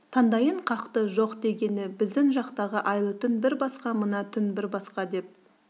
тандайын қақты жоқ дегені біздің жақтағы айлы түн бір басқа мына түн бір басқа деп